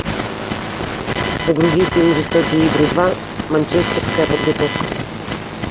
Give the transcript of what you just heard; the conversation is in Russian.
загрузи фильм жестокие игры два манчестерская подготовка